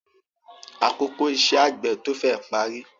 Àkókò iṣẹ́ àgbẹ̀ tó féè parí.